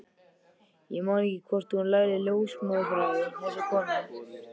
Ég man ekki hvort hún lærði ljósmóðurfræði, þessi kona.